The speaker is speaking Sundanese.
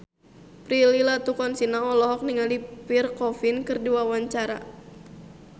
Prilly Latuconsina olohok ningali Pierre Coffin keur diwawancara